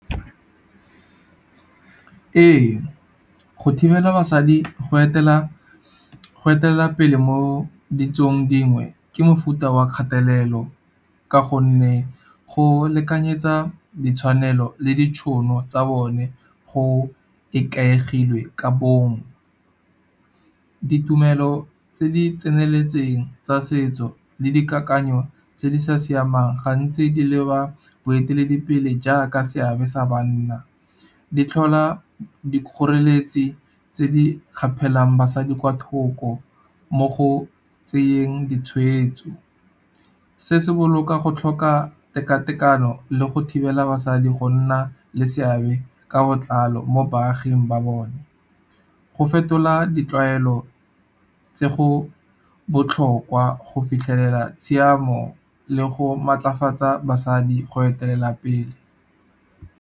Ee, go thibela basadi go etela pele mo ditsong dingwe ke mofuta wa kgatelelo. Ka gonne go lekanyetsa ditshwanelo le ditšhono tsa bone go ikaegilwe ka bong. Ditumelo tse di tseneletseng tsa setso le dikakanyo tse di sa siamang, gantsi di leba boeteledipele jaaka seabe sa banna. Di tlhola dikgoreletsi tse di gapelang basadi kwa thoko mo go tseyeng ditshweetso. Se se boloka go tlhoka tekatekano le go thibela basadi go nna le seabe ka botlalo mo baaging ba bone. Go fetola di tlwaelo tse go botlhokwa go fitlhelela tshiamo le go maatlafatsa basadi go etelela pele.